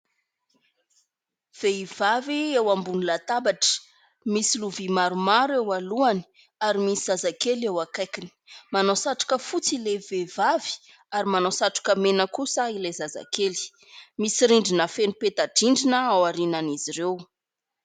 Vehivavy eo ambony latabatra, misy lovia maromaro eo alohany ary misy zazakely eo akaikiny. Manao satroka fotsy ilay vehivavy ary manao satroka mena kosa ilay zazakely ; misy rindrina feno peta-drindrina ao aorianan'izy ireo.